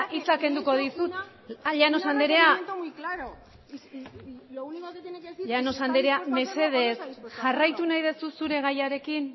hitza kenduko dizut llanos anderea mesedez jarraitu nahi duzu zure gaiarekin